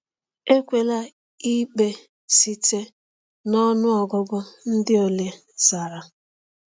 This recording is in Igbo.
Ekwela ikpe site na ọnụ ọgụgụ ndị ole zara.